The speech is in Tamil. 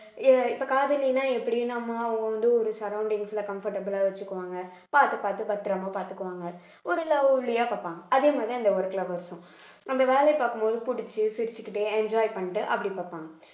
எப்~ இப்ப காதலின்னா எப்படி நம்ம அவங்க வந்து ஒரு surroundings ல comfortable ஆ வச்சுக்குவாங்க பார்த்து பார்த்து பத்திரமா பார்த்துக்குவாங்க ஒரு lovely ஆ பார்ப்பாங்க அதே மாதிரி அந்த ஒரு work lovers ம் நம்ம வேலையை பார்க்கும் போது புடிச்சு சிரிச்சுகிட்டே enjoy பண்ணிட்டு அப்படி பார்ப்பாங்க